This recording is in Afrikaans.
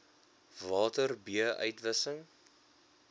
water b uitwissing